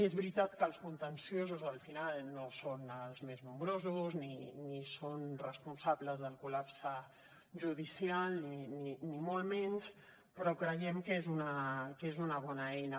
és veritat que els contenciosos al final no són els més nombrosos ni són responsables del col·lapse judicial ni molt menys però creiem que és una bona eina